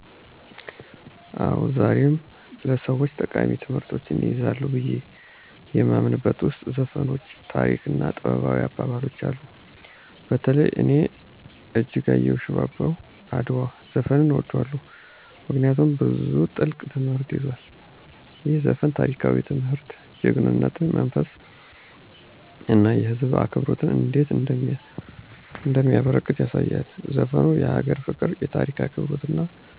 አዎን፣ ዛሬም ለሰወች ጠቃሚ ትምህርቶችን ይይዛሉ ብዬ የማምንበት ውስጥ ዘፈኖች፣ ታሪኮች እና ጥበባዊ አባባሎች አሉ። በተለይ እኔ የእጅጋየሁ “ሽባባው አድዋ” ዘፈንን እወደዋለሁ፤ ምክንያቱም ብዙ ጥልቅ ትምህርትን ይዟል። ይህ ዘፈን ታሪካዊ ትምህርት፣ የጀግናነት መንፈስ እና የህዝብ አብሮነት እንዴት እንደሚያበረከት ያሳያል። ዘፈኑ የአገር ፍቅር፣ የታሪክ አክብሮት እና